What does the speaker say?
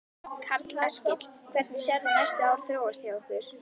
Karl Eskil: Hvernig sérð þú næstu ár þróast hjá ykkur?